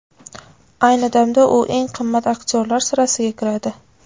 Ayni damda u eng qimmat aktyorlar sirasiga kiradi.